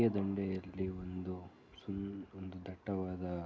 ಈ ದಂಡೆಯಲ್ಲಿ ಒಂದು ಸುಂದ್ ಒಂದು ದಟ್ಟವಾದ--